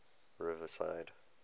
riverside